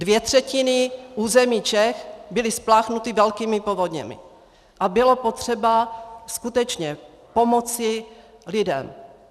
Dvě třetiny území Čech byly spláchnuty velkými povodněmi a bylo potřeba skutečně pomoci lidem.